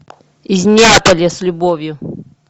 из неаполя с любовью